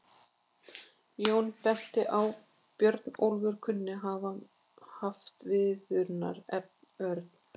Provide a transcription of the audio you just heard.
Jón benti á að Björnólfur kunni að hafa haft viðurnefnið örn.